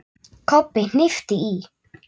Kobbi hnippti í